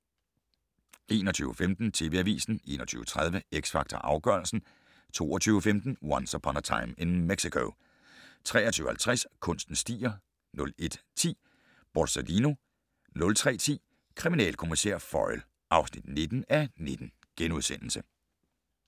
21:15: TV Avisen 21:30: X Factor Afgørelsen 22:15: Once Upon a Time in Mexico 23:50: Kunsten stiger 01:10: Borsalino 03:10: Kriminalkommissær Foyle (19:19)*